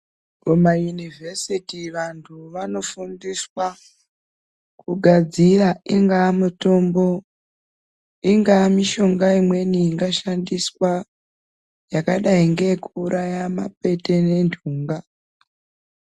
Kumayunivhesiti vantu vanofundiswa kugadzira ingaa mitombo ingaa mishonga imweni ingashandiswa yakadai ngeyekuuraya mapete nentunga.